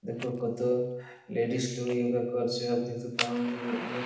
দেখো কত লেডিস লোগ যোগা করছে অনেক--